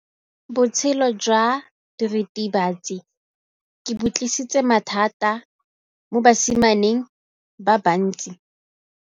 Botshelo jwa diritibatsi ke bo tlisitse mathata mo basimaneng ba bantsi.